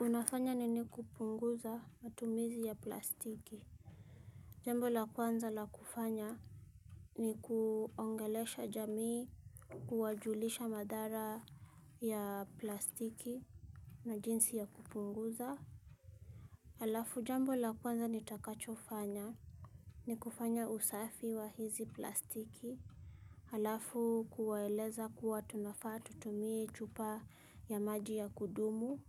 Unafanya nini kupunguza matumizi ya plastiki? Jambo la kwanza la kufanya ni kuongelesha jamii kuwajulisha madhara ya plastiki. Na jinsi ya kupunguza. Halafu jambo la kwanza nitakachofanya, ni kufanya usafi wa hizi plastiki. Halafu kuwaeleza kuwa tunafaa tutumie chupa ya maji ya kudumu